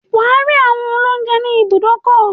Wà á rí àwọn olóúńjẹ ní ibùdókọ̀.